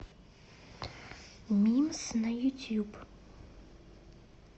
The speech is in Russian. мимс на ютуб